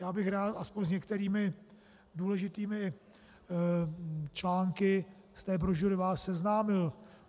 Já bych rád aspoň s některými důležitými články z té brožury vás seznámil.